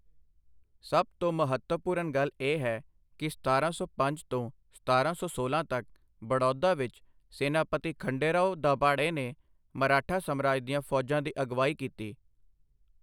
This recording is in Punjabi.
ਸਭ ਤੋਂ ਮਹੱਤਵਪੂਰਨ ਗੱਲ ਇਹ ਹੈ ਕਿ ਸਤਾਰਾਂ ਸੌ ਪੰਜ ਤੋਂ ਸਤਾਰਾਂ ਸੌ ਸੋਲਾਂ ਤੱਕ, ਬੜੌਦਾ ਵਿੱਚ ਸੇਨਾਪਤੀ ਖੰਡੇਰਾਓ ਦਾਭਾੜੇ ਨੇ ਮਰਾਠਾ ਸਾਮਰਾਜ ਦੀਆਂ ਫੌਜਾਂ ਦੀ ਅਗਵਾਈ ਕੀਤੀ।